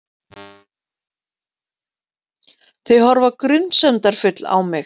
Þau horfa grunsemdarfull á mig.